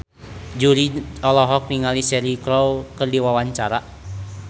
Jui olohok ningali Cheryl Crow keur diwawancara